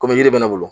Komi yiri bɛ ne bolo